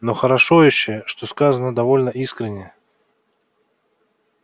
но хорошо ещё что сказано довольно искренне